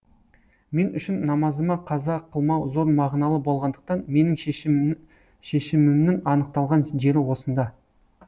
мен үшін намазыма қаза қылмау зор мағыналы болғандықтан менің шешімімнің анықталған жері осында